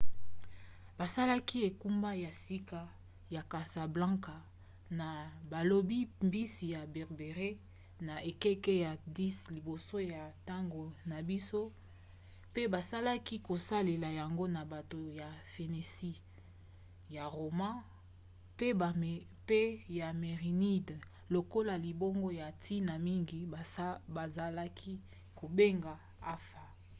basalaki engumba ya sika ya casablanca na balobi-mbisi ya berbere na ekeke ya 10 liboso ya ntango na biso mpe bazalaki kosalela yango na bato ya phénicie ya roma mpe ya mérénides lokola libongo ya ntina mingi bazalaki kobenga anfa